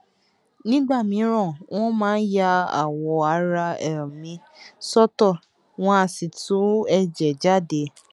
nígbà mìíràn wọn máa ń ya awọ ara um mi sọtọ um wọn á sì tú ẹjẹ jáde